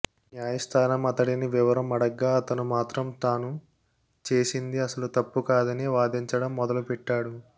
న్యాయస్థానం అతడిని వివరం అడగ్గా అతను మాత్రం ట్టాను చేసింది అసలు తప్పు కాదని వాదించడం మొదలుపెట్టాడు